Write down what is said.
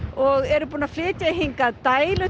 og eru búnir að flytja hingað dælu